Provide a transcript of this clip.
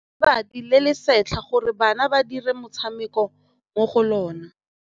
Ba rekile lebati le le setlha gore bana ba dire motshameko mo go lona.